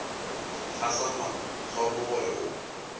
fa sa mathomo gore o